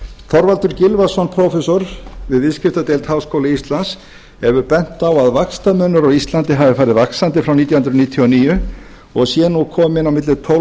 þorvaldur gylfason prófessor við viðskiptadeild háskóla íslands hefur bent á að vaxtamunur á íslandi hafi farið vaxandi frá nítján hundruð níutíu og níu og sé nú kominn á milli tólf